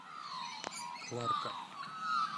кларка